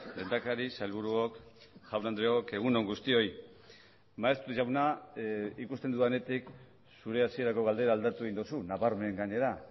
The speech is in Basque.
lehendakari sailburuok jaun andreok egun on guztioi maeztu jauna ikusten dudanetik zure hasierako galdera aldatu egin duzu nabarmen gainera